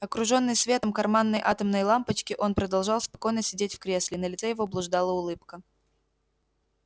окружённый светом карманной атомной лампочки он продолжал спокойно сидеть в кресле и на лице его блуждала улыбка